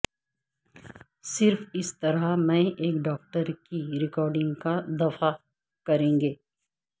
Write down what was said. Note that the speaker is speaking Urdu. صرف اس طرح میں ایک ڈاکٹر کی ریکارڈنگ کا دفاع کریں گے